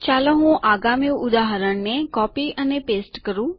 ચાલો હું આગામી ઉદાહરણ કોપી અને પેસ્ટ કરું